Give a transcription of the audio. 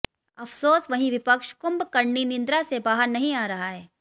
अफ़सोस वही विपक्ष कुम्भकर्णी निद्रा से बाहर नहीं आ रहा है